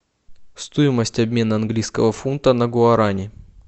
стоимость обмена английского фунта на гуарани